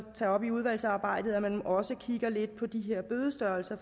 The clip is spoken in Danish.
tage op i udvalgsarbejdet at man også kigger lidt på de her bødestørrelser